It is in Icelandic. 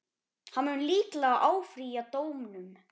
Hann mun líklega áfrýja dómnum.